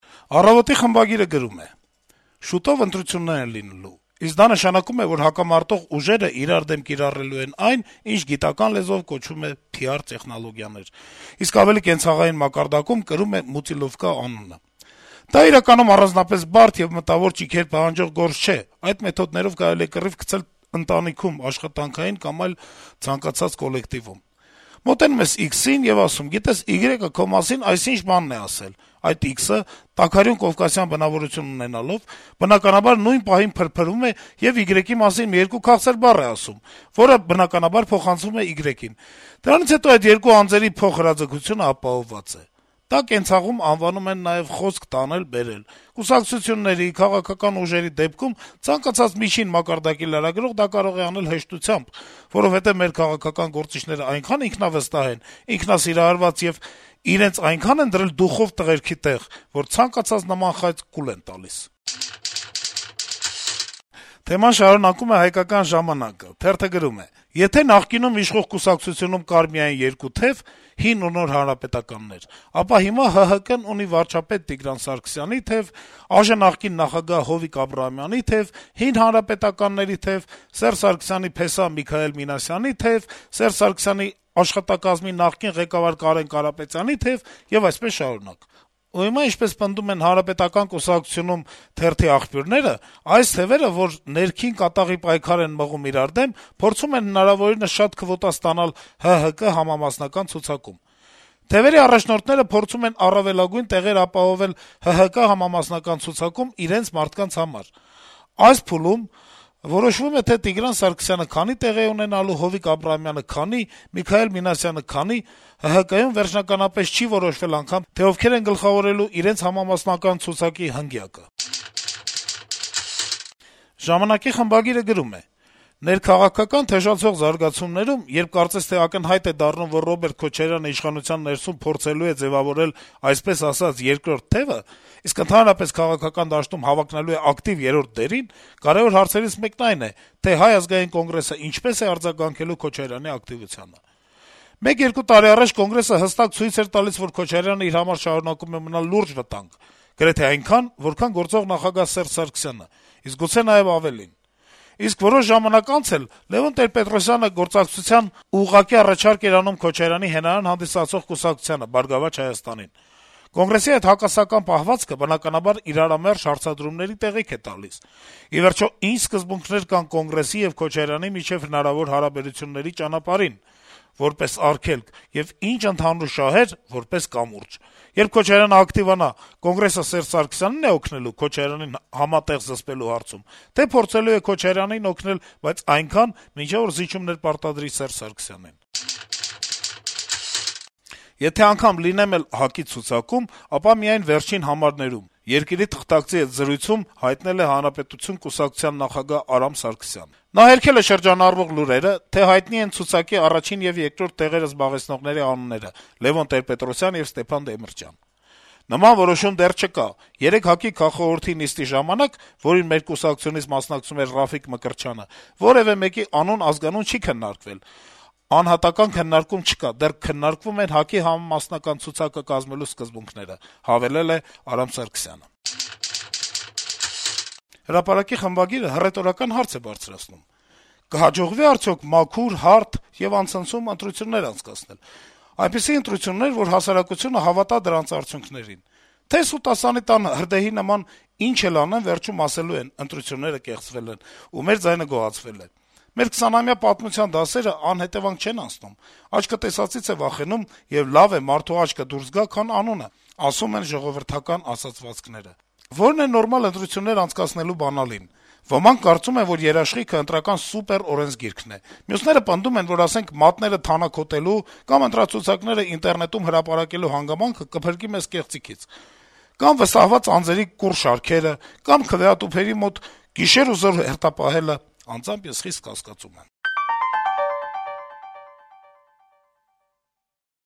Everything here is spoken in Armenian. «Առավոտ»-ի խմբագիրը գրում է. - «Շուտով ընտրություններ են լինելու, իսկ դա նշանակում է, որ հակամարտող ուժերը իրար դեմ կիրառելու են այն, ինչ «գիտական լեզվով» կոչվում է «PR տեխնոլոգիաներ», իսկ ավելի կենցաղային մակարդակում կրում է «մուտիլովկա» անունը: Դա իրականում առանձնապես բարդ եւ մտավոր ճիգեր պահանջող գործ չէ՝ այդ մեթոդներով կարելի է կռիվ գցել ընտանիքում, աշխատանքային կամ ցանկացած այլ կոլեկտիվում: Մոտենում ես X-ին եւ ասում ես՝ «գիտես, Y-ը քո մասին այսինչ բանն է ասել»: Այդ X-ը՝ տաքարյուն կովկասյան բնավորություն ունենալով, բնականաբար, նույն պահին փրփրում է եւ Y-ի մասին մի երկու «քաղցր բառ» է ասում, որը, բնականաբար, փոխանցվում է Y-ին: Դրանից հետո այդ երկու անձերի փոխհրաձգությունն ապահովված է: Դա կենցաղում անվանում են նաեւ «խոսք տանել-բերել»: Կուսակցությունների, քաղաքական ուժերի դեպքում ցանկացած միջին մակարդակի լրագրող դա կարող է անել հեշտությամբ, որովհետեւ մեր քաղաքական գործիչներն այնքան ինքնավստահ են, ինքնասիրահարված եւ իրենց այնքան են դրել «դուխով տղերքի» տեղ, որ ցանկացած նման խայծ կուլ են տալիս»: Թեման շարունակում է «Հայկական ժամանակ»-ը. - «Եթե նախկինում իշխող կուսակցությունում կար միայն երկու թեւ` հին ու նոր հանրապետականներ, ապա հիմա ՀՀԿ-ն ունի վարչապետ Տիգրան Սարգսյանի թեւ, ԱԺ նախկին նախագահ Հովիկ Աբրահամյանի թեւ, հին հանրապետականների թեւ, Սերժ Սարգսյանի փեսա Միքայել Մինասյանի թեւ, Սերժ Սարգսյանի աշխատակազմի նախկին ղեկավար Կարեն Կարապետյանի թեւ եւ այսպես շարունակ: Ու հիմա, ինչպես պնդում են ՀՀԿ մեր աղբյուրները, այս թեւերը, որ ներքին կատաղի պայքար են մղում իրար դեմ, փորձում են հնարավորինս շատ քվոտա ստանալ ՀՀԿ համամասնական ցուցակում: Թեւերի առաջնորդները փորձում են առավելագույն տեղեր ապահովել ՀՀԿ համամասնական ցուցակում ` իրենց մարդկանց համար: Այս փուլում որոշվում է, թե Տիգրան Սարգսյանը քանի տեղ է ունենալու, Հովիկ Աբրահամյանը` քանի, Միքայել Մինասյանը` քանի: ՀՀԿ-ում վերջնականապես չի որոշվել անգամ, թե ովքեր են գլխավորելու իրենց համամասնական ցուցակի հնգյակը»: «Ժամանակ»-ի խմբագիրը գրում է. - «Ներքաղաքական թեժացող զարգացումներում, երբ կարծես թե ակնհայտ է դառնում, որ Ռոբերտ Քոչարյանն իշխանության ներսում փորձելու է ձեւավորել այսպես ասած երկրորդ թեւը, իսկ ընդհանրապես քաղաքական դաշտում հավակնելու է ակտիվ երրորդի դերին, կարեւոր հարցերից մեկն այն է, թե Հայ ազգային կոնգրեսն ինչպես է արձագանքելու Քոչարյանի ակտիվությանը: Մեկ-երկու տարի առաջ Կոնգրեսը հստակ ցույց էր տալիս, որ Քոչարյանն իր համար շարունակում է մնալ լուրջ վտանգ, գրեթե այնքան, որքան գործող նախագահ Սերժ Սարգսյանը, իսկ գուցե նաեւ ավելին: Իսկ որոշ ժամանակ անց էլ, Լեւոն Տեր-Պետրոսյանը գործակցության ուղղակի առաջարկ էր անում Քոչարյանի հենարան հանդիսացող կուսակցությանը՝ «Բարգավաճ Հայաստան»-ին: Կոնգրեսի այդ հակասական պահվածքը բնականաբար իրարամերժ հարցադրումների տեղիք է տալիս: Ի վերջո, ի՞նչ սկզբունքներ կան Կոնգրեսի եւ Քոչարյանի միջեւ հնարավոր հարաբերության ճանապարհին, որպես արգելք, եւ ի՞նչ ընդհանուր շահեր՝ որպես կամուրջ: Երբ Քոչարյանն ակտիվանա, Կոնգրեսը Սերժ Սարգսյանի՞ն է օգնելու՝ Քոչարյանին համատեղ զսպելու հարցում, թե՞ փորձելու է Քոչարյանին օգնել, բայց այնքան, մինչեւ որ զիջումներ պարտադրի Սերժ Սարգսյանին»: «Եթե անգամ լինեմ էլ ՀԱԿ-ի ցուցակում, ապա միայն վերջին համարներում»,- «Երկիր»-ի թղթակցի հետ զրույցում հայտնել է «Հանրապետություն» կուսակցության նախագահ Արամ Սարգսյանը: Նա հերքել է շրջանառվող լուրերը, թե արդեն հայտնի են ցուցակի առաջին եւ երկրորդ տեղերը զբաղեցնողների անունները` Լեւոն Տեր-Պետրոսյան եւ Ստեփան Դեմիրճյան: «Նման որոշում դեռ չկա, երեկ ՀԱԿ-ի քաղխորհրդի նիստի ժամանակ, որին մեր կուսակցությունից մասնակցում էր Ռաֆիկ Մկրտչյանը, որեւէ մեկի անուն-ազգանուն չի քննարկվել: Անհատական քննարկում չկա, դեռ քննարկվում են ՀԱԿ-ի համամասնական ցուցակը կազմելու սկզբունքները», - հավելել է Արամ Սարգսյանը: «Հրապարակ»-ի խմբագիրը հռետորական հարց է բարձրացնում. - «Կհաջողվի՞ արդյոք մաքուր, հարթ եւ անցնցում ընտրություններ անցկացնել: Այնպիսի ընտրություններ, որ հասարակությունը հավատա դրանց արդյունքներին: Թե՞ սուտասանի տան հրդեհի նման ինչ էլ անեն, վերջում ասելու ենք՝ ընտրությունները կեղծվել են, ու մեր ձայնը գողացվել է: Մեր 20-ամյա պատմության դասերն անհետեւանք չեն անցնում: Աչքը տեսածից է վախենում, եւ լավ է մարդու աչքը դուրս գա, քան անունը, ասում են ժողովրդական ասացվածքները: Ո՞րն է նորմալ ընտրություններ անցկացնելու բանալին: Ոմանք կարծում են, որ երաշխիքը Ընտրական սուպեր օրենսգիրքն է: Մյուսները պնդում են, որ, ասենք՝ մատները թանաքոտելու կամ ընտրացուցակներն ինտերնետում հրապարակելու հանգամանքը կփրկի մեզ կեղծիքից: Կամ՝ վստահված անձերի կուռ շարքերը: Կամ՝ քվեատուփերի մոտ գիշեր ու զօր հերթապահելը: Անձամբ ես խիստ կասկածում եմ»: